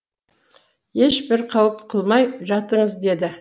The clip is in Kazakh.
ешбір қауіп қылмай жатыңыз деді